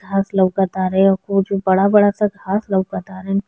घास लउकत तारें कुछ बड़ा-बड़ा सा घास लउकत तारें।